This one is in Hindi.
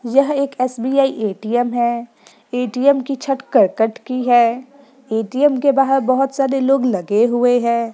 यह एक एस.बी.आई. ए.टी.एम. है ए.टी.एम. की छत करकट की है ए.टी.एम. के बाहर बहुत सारे लोग लगे हुए है।